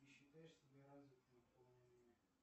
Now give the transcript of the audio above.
ты считаешь себя развитым в полной мере